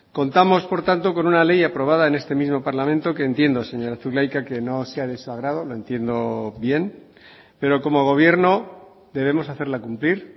contamos por tanto con una ley aprobada en este mismo parlamento que entiendo señora zulaika que no sea de su agrado lo entiendo bien pero como gobierno debemos hacerla cumplir